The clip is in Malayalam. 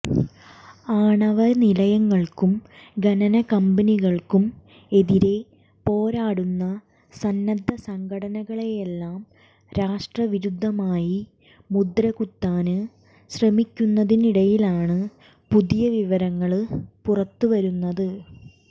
ആണവ നിലയങ്ങള്ക്കും ഖനന കമ്പനികള്ക്കും എതിരെ പോരാടുന്ന സന്നദ്ധ സംഘടനകളെയെല്ലാം രാഷ്ട്രവിരുദ്ധമായി മുദ്രകുത്താന് ശ്രമിക്കുന്നതിനിടയിലാണ് പുതിയ വിവരങ്ങള് പുറത്ത് വരുന്നത്